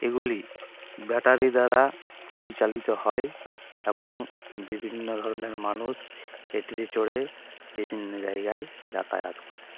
এগুলি ব্যাটারি দ্বারা পরিচালিত হয় এবং বিভিন্ন ধরনের মানুষ এটিতে চড়ে বিভিন্ন জায়গায় যাতায়াত করে।